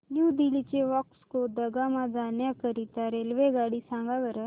new Delhi ते Vasco da Gama जाण्या करीता रेल्वेगाडी सांगा बरं